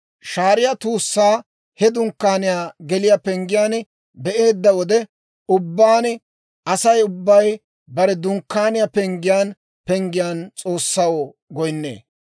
Shaariyaa tuussaa he dunkkaaniyaa geliyaa penggiyaan be'eedda wode ubbaan, Asay ubbay bare Dunkkaaniyaa penggiyaan penggiyaan S'oossaw goynnee.